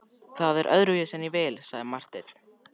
Það er öðruvísi en ég vil, sagði Marteinn.